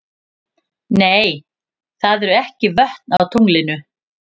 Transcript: Nei, það eru ekki vötn á tunglinu.